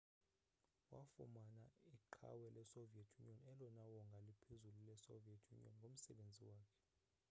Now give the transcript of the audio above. wafumana iqhawe lesoviet union elona wongaa liphezulu lesoviet union ngomsebenzi wakhe